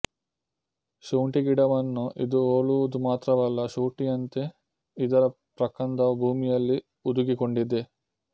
ಶುಂಠಿಗಿಡವನ್ನು ಇದು ಹೋಲುವುದು ಮಾತ್ರವಲ್ಲ ಶುಂಠಿಯಂತೆ ಇದರ ಪ್ರಕಂದವೂ ಭೂಮಿಯಲ್ಲಿ ಹುದುಗಿಕೊಂಡಿದೆ